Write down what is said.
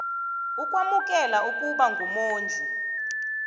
ukwamukela ukuba mumondli